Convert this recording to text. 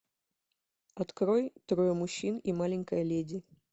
открой трое мужчин и маленькая леди